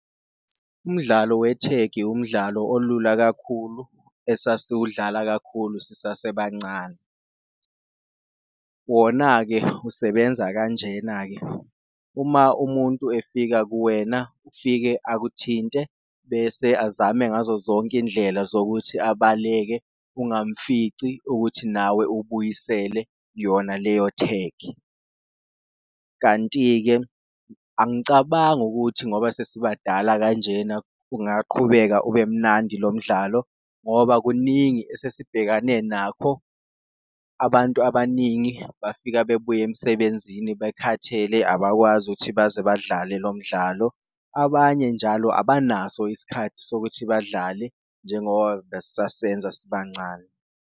Umdlalo wethegi umdlalo olula kakhulu esasiwudlala kakhulu sisasebancane, wona-ke usebenza kanjena-ke, uma umuntu efika kuwena ufike akuthinte bese azame ngazo zonke indlela zokuthi abaleke ungamfici ukuthi nawe ubuyisele yona leyo thegi. Kanti-ke angicabangi ukuthi ngoba sesibadala kanjena kungaqhubeka ube mnandi lo mdlalo ngoba kuningi esesibhekane nakho, abantu abaningi bafika bebuya emsebenzini bekhathele abakwazi ukuthi baze badlale lo mdlalo. Abanye njalo abanaso isikhathi sokuthi badlale njengoba bes'sasenza sibancane.